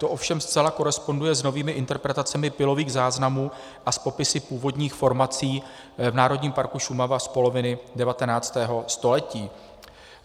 To ovšem zcela koresponduje s novými interpretacemi pylových záznamů a s popisy původních formací v Národním parku Šumava z poloviny 19. století.